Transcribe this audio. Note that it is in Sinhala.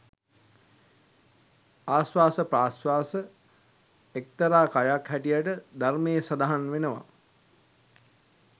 ආශ්වාස ප්‍රශ්වාස එක්තරා කයක් හැටියට ධර්මයේ සඳහන් වෙනවා.